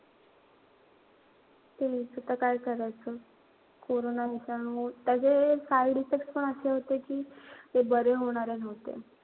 हा तेच आता काय करायचं. कोरोना विषाणू, सगळे side effect पण अशे होते कि ते बरे होणारे नव्हते